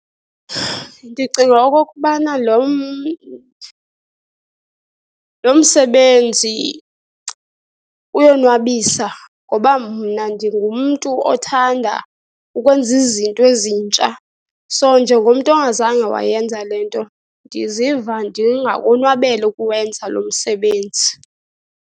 Ndicinga okokubana lo msebenzi uyonwabisa ngoba mna ndingumntu othanda ukwenza izinto ezintsha. So, njengomntu ongazange wayenza le nto, ndiziva ndingakonwabela ukuwenza lo msebenzi.